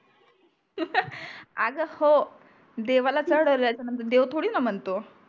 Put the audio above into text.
अग हो देवाला चडवल्याच्या नंतर देव थोडी णा म्हणतो